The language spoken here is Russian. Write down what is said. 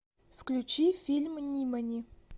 включи фильм нимани